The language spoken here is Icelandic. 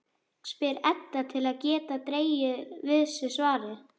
spyr Edda til að geta dregið við sig svarið.